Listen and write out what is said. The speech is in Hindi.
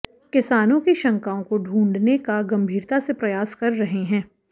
किसानों की शंकाओं को ढूंढ़ने का गंभीरता से प्रयास कर रहे हैं